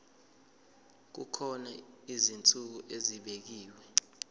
kukhona izinsuku ezibekiwe